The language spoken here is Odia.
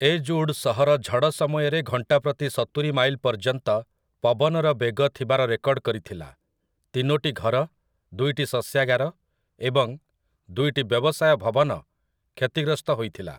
ଏଜ୍ଉଡ୍ ସହର ଝଡ଼ ସମୟରେ ଘଣ୍ଟାପ୍ରତି ସତୁରି ମାଇଲ ପର୍ଯ୍ୟନ୍ତ ପବନର ବେଗ ଥିବାର ରେକର୍ଡ କରିଥିଲା, ତିନୋଟି ଘର, ଦୁଇଟି ଶସ୍ୟାଗାର, ଏବଂ ଦୁଇଟି ବ୍ୟବସାୟ ଭବନ କ୍ଷତିଗ୍ରସ୍ତ ହୋଇଥିଲା ।